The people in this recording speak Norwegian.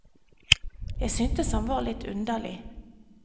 Jeg syntes han var litt underlig.